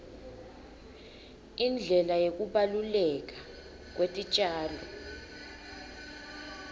indlela yekubaluleka kwetitjalo